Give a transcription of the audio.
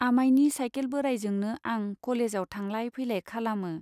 आमायनि cycle बोरायजोंनो आं कलेजआव थांलाय फैलाय खालामो।